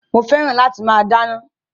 Mo fẹ́ràn láti máa dáná